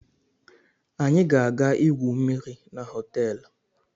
Anyị ga-aga igwu mmiri na họteelu.